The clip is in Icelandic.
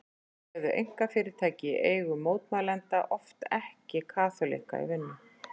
Þá réðu einkafyrirtæki í eigu mótmælenda oft ekki kaþólikka í vinnu.